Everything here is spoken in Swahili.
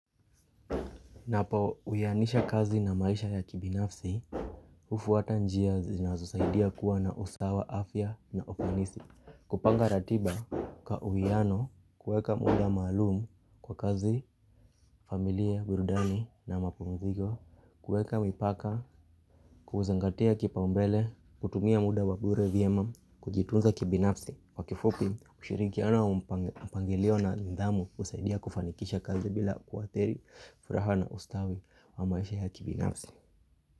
Ninapo uyanisha kazi na maisha ya kibinafsi, hufuata njia zinazosaidia kuwa na usawa, afya na ufanisi. Kupanga ratiba kwa uiano, kueka muda maalumu kwa kazi, familia, burudani na mapumziko, kueka mipaka, kuzingatia kipa umbele, kutumia muda wabure vyema, kujitunza kibinafsi. Kwa kifupi ushirikiano wampangilio na nidhamu husaidia kufanikisha kazi bila kuadhiri furaha na ustawi wa maisha ya kibinafsi.